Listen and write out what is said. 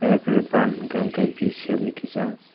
er pore ban hwnkhe V shape ni kisa.